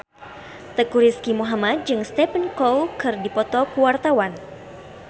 Teuku Rizky Muhammad jeung Stephen Chow keur dipoto ku wartawan